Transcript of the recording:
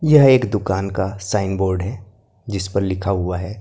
यह एक दुकान का साइन बोर्ड है जिस पर लिखा हुआ है।